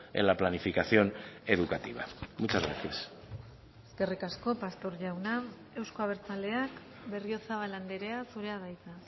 en la planificación educativa muchas gracias eskerrik asko pastor jauna euzko abertzaleak berriozabal andrea zurea da hitza